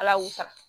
Ala y'u sara